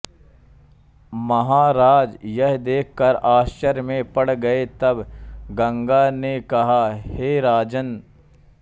महाराज यह देख कर आश्चर्य में पड़ गये तब गंगा ने कहा हे राजन्